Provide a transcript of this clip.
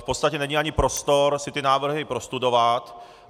V podstatě není ani prostor si ty návrhy prostudovat.